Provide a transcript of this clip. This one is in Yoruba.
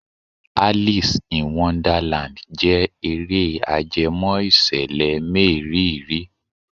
Alice in Wonderland jẹ́ eré ajẹmọ́ ìṣẹ̀lẹ̀ mériìrí.